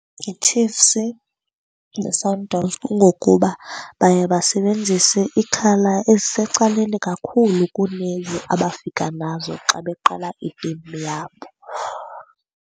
YiChiefs neSundowns. Kungokuba baye basebenzise ii-colour ezisecaleni kakhulu kuleyo abafika nazo xa beqala itimu yabo.